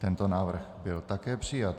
Tento návrh byl také přijat.